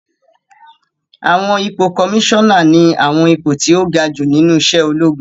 Àwọn ipò kọmísánà ní àwọn ipò tó ga jù nínú iṣẹ́ ológun